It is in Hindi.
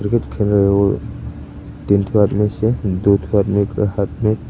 तीन ठो आदमी से दो ठो आदमी के हाथ में।